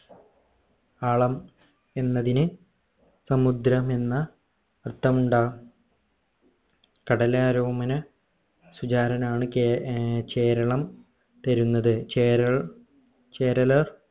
ആളം എന്നതിന് സമുദ്രം എന്ന അർത്ഥമുണ്ട കടലരോമന സുചാരനാണ ഏർ ചെരളം വരുന്നത് ചേരൽ ചേരലാ